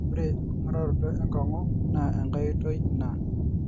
ore enking'uraroto enkong'u naa enkae oitoi ina